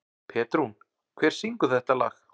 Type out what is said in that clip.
Petrún, hver syngur þetta lag?